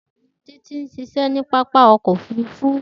Titi nṣiṣẹ ni papa ọkọ ofurufu.